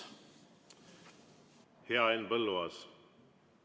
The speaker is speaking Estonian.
Hea Henn Põlluaas!